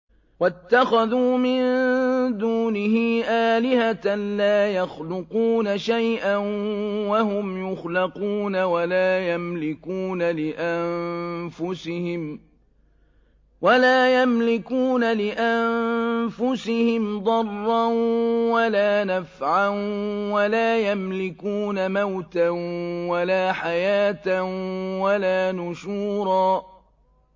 وَاتَّخَذُوا مِن دُونِهِ آلِهَةً لَّا يَخْلُقُونَ شَيْئًا وَهُمْ يُخْلَقُونَ وَلَا يَمْلِكُونَ لِأَنفُسِهِمْ ضَرًّا وَلَا نَفْعًا وَلَا يَمْلِكُونَ مَوْتًا وَلَا حَيَاةً وَلَا نُشُورًا